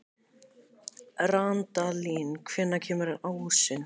Randalín, hvenær kemur ásinn?